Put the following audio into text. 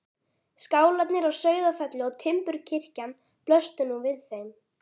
Skálarnir á Sauðafelli og timburkirkjan blöstu nú við þeim.